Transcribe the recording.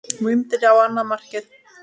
Vindur á annað markið.